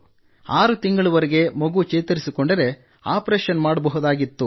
6 ತಿಂಗಳವರೆಗೆ ಮಗು ಚೇತರಿಸಿಕೊಂಡರೆ ಆಪರೇಷನ್ ಮಾಡಬಹುದಾಗಿತ್ತು